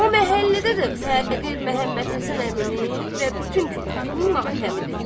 O məhəllədə də fəqir Məhəmmədhəsən əminin və bütün külfətinin matəmidir.